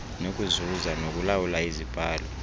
nokuzuza nokulawula izibhalo